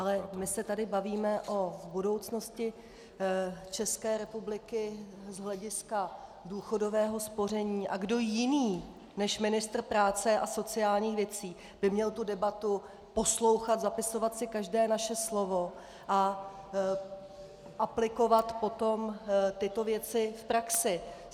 Ale my se tady bavíme o budoucnosti České republiky z hlediska důchodového spoření a kdo jiný než ministr práce a sociálních věcí by měl tu debatu poslouchat, zapisovat si každé naše slovo a aplikovat potom tyto věci v praxi?